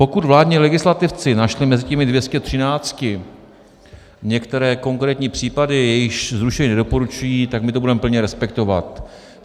Pokud vládní legislativci našli mezi těmi 213 některé konkrétní případy, jejichž zrušení nedoporučují, tak my to budeme plně respektovat.